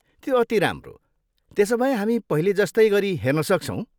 त्यो अति राम्रो, त्यसोभए हामी पहिले जस्तै गरी हेर्न सक्छौँ।